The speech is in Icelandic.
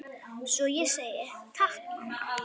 Svo ég segi: Takk mamma.